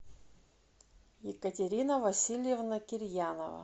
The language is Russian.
екатерина васильевна кирьянова